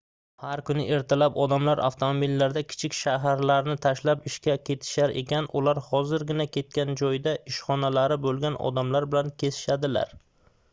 har kuni ertalab odamlar avtomobillarda kichik shaharlarni tashlab ishga ketishar ekan ular hozirgina ketgan joyda ishxonalari boʻlgan odamlar bilan kesishadilar